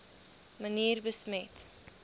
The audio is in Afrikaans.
manier besmet